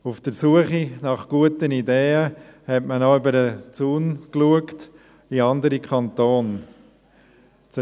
Auf der Suche nach guten Ideen, hat man auch über den Zaun in andere Kantone geschaut.